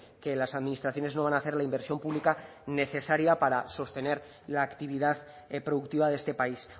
que las administraciones no van a hacer la inversión pública necesaria para sostener la actividad productiva de este país